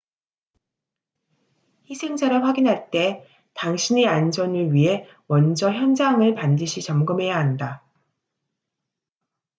희생자를 확인할 때 당신의 안전을 위해 먼저 현장을 반드시 점검해야 한다